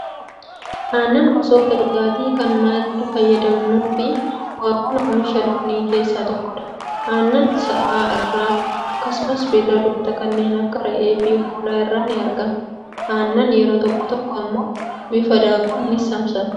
Aannan gosoota dhugaatii kan manatti fayyadamnuu fi bu'aawwan oomisha loonii keessaa tokkodha. Aannan sa'a irraa akkasumas beelladoota kanneen akka re'ee fi hoolaa irraa ni argama. Aannan yeroo tokko tokko immoo bifa daakuun ni saamsamu.